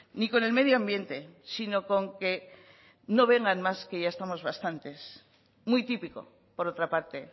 ni con el medioambiente sino con que no vengan más que ya estamos bastantes muy típico por otra parte